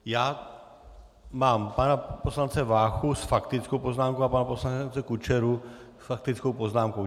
Já mám pana poslance Váchu s faktickou poznámkou a pana poslance Kučeru s faktickou poznámkou.